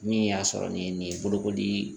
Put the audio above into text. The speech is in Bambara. Min y'a sɔrɔ ni nin ye bolokoli